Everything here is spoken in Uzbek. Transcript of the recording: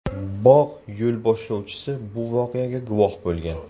Bog‘ yo‘lboshlovchisi bu voqeaga guvoh bo‘lgan.